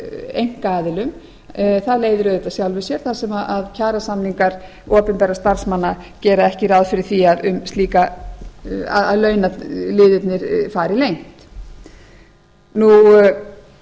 einkaaðilum það leiðir auðvitað af sjálfum sér þar sem kjarasamningar opinberra starfsmanna gera ekki ráð fyrir því að launaliðirnir fari leynt